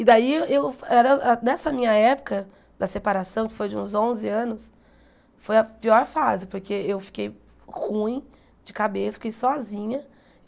E daí, eu era nessa minha época da separação, que foi de uns onze anos, foi a pior fase, porque eu fiquei ruim de cabeça, fiquei sozinha.